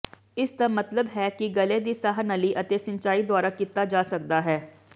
ਇਸਦਾ ਮਤਲਬ ਹੈ ਕਿ ਗਲੇ ਦੀ ਸਾਹ ਨਲੀ ਅਤੇ ਸਿੰਚਾਈ ਦੁਆਰਾ ਕੀਤਾ ਜਾ ਸਕਦਾ ਹੈ